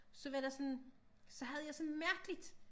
Så var der sådan så havde jeg sådan en mærkeligt